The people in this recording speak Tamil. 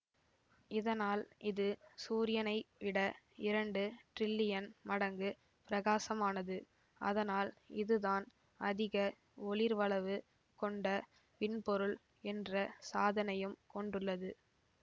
இதனால் இது சூரியனை விட இரண்டு டிரில்லியன் மடங்கு பிரகாசமானது அதனால் இதுதான் அதிக ஒளிர்வளவு கொண்ட வின்பொருள் என்ற சாதனையும் கொண்டுள்ளது